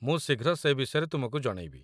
ମୁଁ ଶୀଘ୍ର ସେ ବିଷୟରେ ତୁମକୁ ଜଣେଇବି